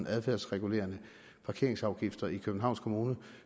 adfærdsregulerende parkeringsafgifter i københavns kommune